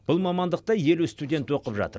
бұл мамандықта елу студент оқып жатыр